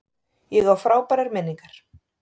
Ég á frábærar minningar.